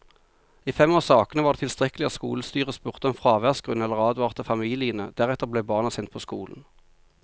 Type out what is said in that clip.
I fem av sakene var det tilstrekkelig at skolestyret spurte om fraværsgrunn eller advarte familiene, deretter ble barna sendt på skolen.